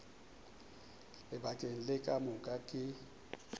lebakeng le ka moka ke